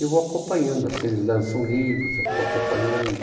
Eu vou acompanhando assim, eles lançam livros, eu estou acompanhando.